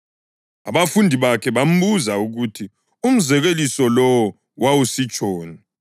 Abafundi bakhe bambuza ukuthi umzekeliso lowo wawusitshoni.